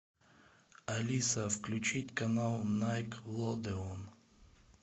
алиса включить канал найк лодэон